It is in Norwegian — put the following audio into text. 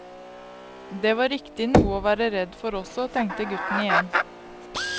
Det var riktig noe å være redd for også, tenkte gutten igjen.